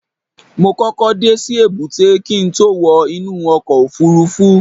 mo kókó dé sí èbúté kí n tó wọ inú ọkọ̀ òfurufú